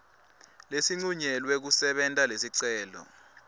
lesincunyelwe kusebenta lesicelo